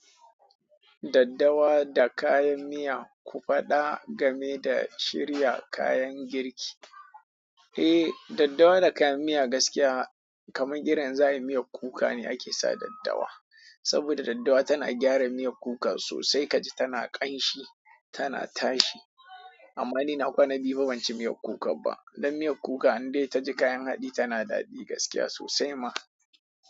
Daddawa da kayan miya ku faɗa game da shirya kayan girki. Eh, daddawa da kayan miya gaskiya kamar irin za ayi miyar kuka ne ake sa daddawa. Saboda daddawa tana gyara miyar kuka sosai kaji tana ƙanshi, tana tashi. Amman ni na kwana biyu banci miyar kuka ba dan miyar kuka in dai ta ji kayan haɗi tana daɗi gaskiya sosai ma.